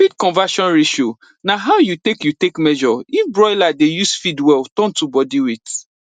feed conversion ratio na how you take you take measure if broiler dey use feed well turn to body weight